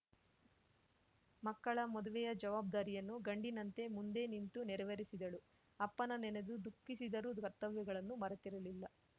ಮಕ್ಕಳ ಮದುವೆಯ ಜವಾಬ್ದಾರಿಯನ್ನು ಗಂಡಿನಂತೆ ಮುಂದೆ ನಿಂತು ನೆರವೆರಿಸಿದಳು ಅಪ್ಪನ ನೆನೆದು ದುಃಖಿಸಿದರೂ ಕರ್ತವ್ಯಗಳನ್ನು ಮರೆತಿರಲಿಲ್ಲ